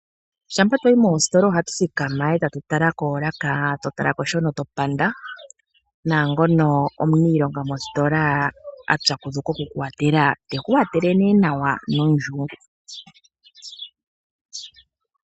Shampa twayi moositola ohatu thikama e tatu tala koolaka ,eto talako shono topanda naangono omuniilonga mositola apyakudhukwa oku kwathela teku yakula nawa nondjungu.